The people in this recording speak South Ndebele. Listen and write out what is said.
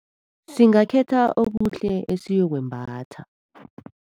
Singakhetha okuhle esiyokwembatha.